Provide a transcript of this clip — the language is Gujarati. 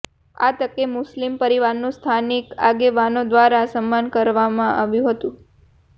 આ તકે મુસ્લીમ પરીવારનું સ્થાનિક આગેવાનો દ્વારા સન્માન કરવામાં આવ્યું હતું